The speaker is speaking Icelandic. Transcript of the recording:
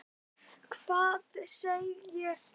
Hvað segir það?